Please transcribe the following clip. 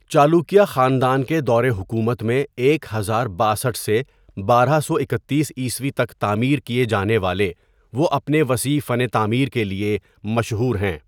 چالوکیا خاندان کے دور حکومت میں ایک ہزار باسٹھ سے بارہ سو اکتیس عیسوی تک تعمیر کیے جانے والے وہ اپنے وسیع فن تعمیر کے لیے مشہور ہیں.